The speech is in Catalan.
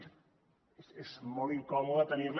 és molt incòmode tenir la